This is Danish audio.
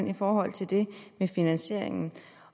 i forhold til det med finansieringen